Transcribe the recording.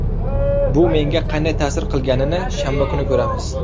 Bu menga qanday ta’sir qilganini shanba kuni ko‘ramiz.